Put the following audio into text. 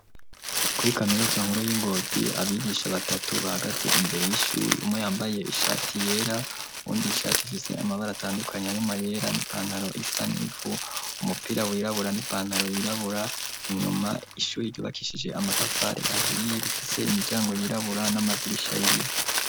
Kuri kaminuza nkuru y'i Ngozi, abigisha batatu bahagatse imbere y'ishuri. Umwe yambaye ishati yera, uwundi ishati ifise amabara atandukanye arimwo ayera n'ipantaro isa n'ivu, umupira wirabura n'ipantaro yirabura, inyuma ishuri ryubakishije amatafari ahiye rifise imiryango yirabura n'amadirisha y'ibiyo.